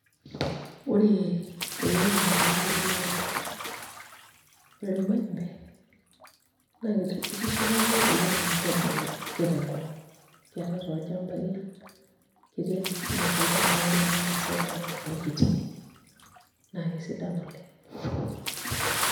Ore kulo naa ilairemok lormaembe ore irmaembe naa itishipa iyiook oleng' amu kebulu ake tenkop ang' kiata toolchambai lang' ketii ake sininche ilchambaai loormaasai tenakop nekitii naa kesidan oleng'.